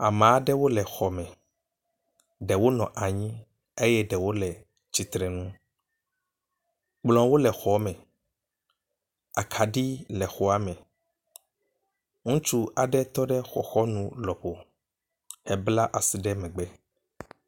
Ame aɖewo le xɔ me. Ɖewo nɔ anyi eye ɖewo le tsitreŋu. kplɔwole xɔ me. Akaɖi le xɔa me. Ŋutsu aɖe tɔ ɖ xɔxɔnu lɔƒo hebla asi ɖe megbe.